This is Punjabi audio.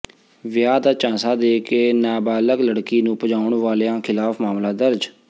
ਵਿਆਹ ਦਾ ਝਾਂਸਾ ਦੇ ਕੇ ਨਾਬਾਲਗ ਲੜਕੀ ਨੂੰ ਭਜਾਉਣ ਵਾਲਿਆਂ ਿਖ਼ਲਾਫ਼ ਮਾਮਲਾ ਦਰਜ